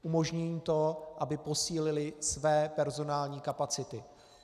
Umožní jim to, aby posílily své personální kapacity.